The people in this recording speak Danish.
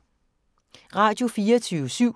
Radio24syv